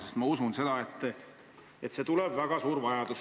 Sest ma usun, et see tuleb väga suur vajadus.